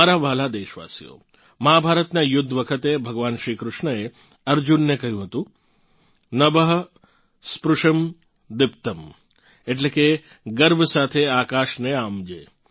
મારા વ્હાલાં દેશવાસીઓ મહાભારતનાં યુદ્ધ વખતે ભગવાન શ્રી કૃષ્ણએ અર્જુનને કહ્યું હતું नभः स्पृशं दीप्तम् એટલે કે ગર્વ સાથે આકાશને આંબજે